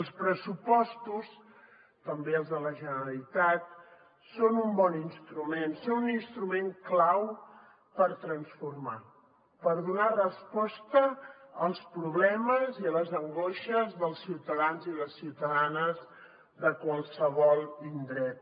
els pressupostos també els de la generalitat són un bon instrument són l’instrument clau per transformar per donar resposta als problemes i a les angoixes dels ciutadans i les ciutadanes de qualsevol indret